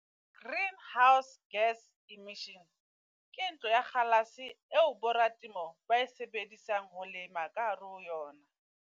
Greenhouse gas emissions, ke ntlo ya kgalase eo bo ratemo ba e sebedisang ho lema ka hare ho yona.